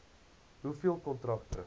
hoeveel kontrakte